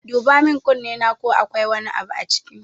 Duba min kunnena ko akwai wani abu a ciki